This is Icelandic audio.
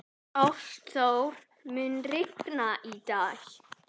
Ástþór, mun rigna í dag?